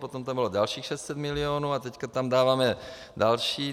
Potom tam bylo dalších 600 milionů a teď tam dáváme další.